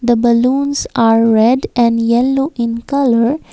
the balloons are red and yellow in colour.